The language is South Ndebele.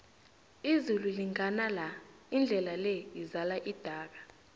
izulu lingana la indlela le izala idaka